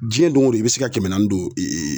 Diɲɛ don o don i bɛ se ka kɛmɛ naani don